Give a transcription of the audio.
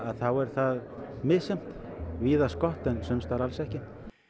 þá er það misjafnt víðast gott en sums staðar alls ekki